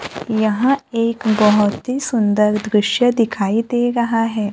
यहां एक बहोत ही सुंदर दृश्य दिखाई दे रहा है।